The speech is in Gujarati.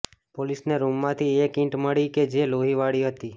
પોલીસને રૂમમાંથી એક ઇંટ મળી કે જે લોહીવાળી હતી